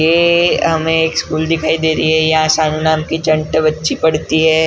ये हमें एक स्कूल दिखाई दे रही हैं यहाँ शामलाल की चंट बच्ची पढ़ती हैं।